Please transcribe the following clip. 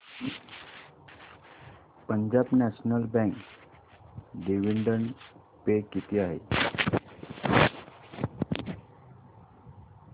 Punjab national bank dividend pay किती आहे